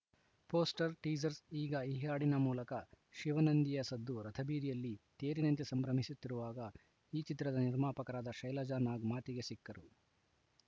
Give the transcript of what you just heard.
poster teaser ಈಗ ಹಾಡಿನ ಮೂಲಕ ಶಿವನಂದಿಯ ಸದ್ದು ರಥಬೀದಿಯಲ್ಲಿ ತೇರಿನಂತೆ ಸಂಭ್ರಮಿಸುತ್ತಿರುವಾಗ ಈ ಚಿತ್ರದ ನಿರ್ಮಾಪಕರಾದ ಶೈಲಜಾ ನಾಗ್‌ ಮಾತಿಗೆ ಸಿಕ್ಕರು